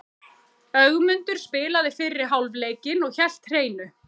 Ögmundur spilaði fyrri hálfleikinn og hélt hreinu.